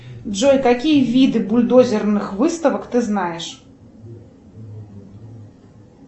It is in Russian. джой какие виды бульдозерных выставок ты знаешь